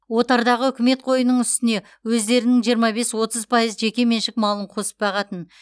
отардағы үкімет қойының үстіне өздерінің жиырма бес отыз пайыз жеке меншік малын қосып бағатын